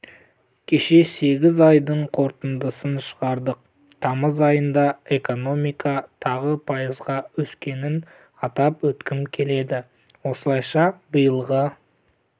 кеше сегіз айдың қорытындысын шығардық тамыз айында экономика тағы пайызға өскенін атап өткім келеді осылайша биылғы